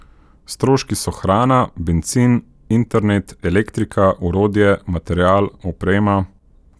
Stroški so hrana, bencin, internet, elektrika, orodje, material, oprema ...